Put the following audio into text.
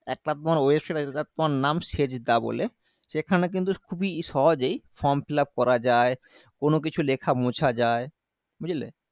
একটা তোমার website আছে যেটার তোমার নাম seda বলে সেখানে কিন্তু খুবই সহজেই form fill up করা যায় কোনো কিছু লেখা মোছা যায় বুঝলে